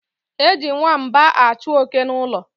Eji nwamba achụ oke n' ụlọ.